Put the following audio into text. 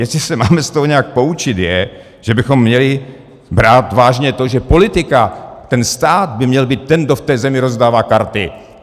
Jestli se máme z toho nějak poučit, je, že bychom měli brát vážně to, že politika, ten stát by měl být ten, kdo v té zemi rozdává karty.